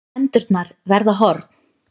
Hendurnar verða horn.